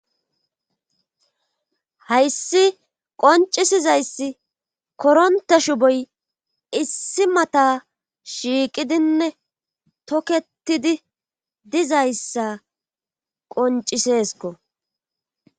hayssi qoncisizayssi koronte shuboy issi mata shiiqidinne toketidi dizayssa qoncisesko